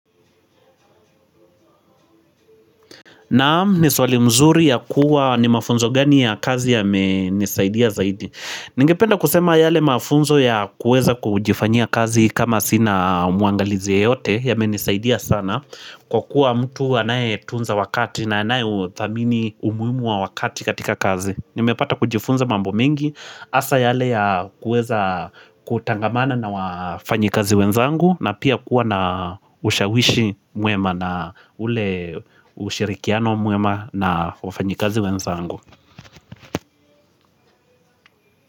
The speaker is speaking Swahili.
Nam ni swali mzuri ya kuwa ni mafunzo gani ya kazi yamenisaidia zaidi? Ningependa kusema yale mafunzo ya kuweza kujifanya kazi kama sina mwangalizi yeyote yamenisaidia sana Kwa kuwa mtu anayetunza wakati na anayeuthamini umuhimu wa wakati katika kazi. Nimepata kujifunza mambo mengi hasa yale ya kuweza kutangamana na wafanyi kazi wenzangu na pia kuwa na ushawishi mwema na ule ushirikiano mwema na wafanyikazi wenzangu.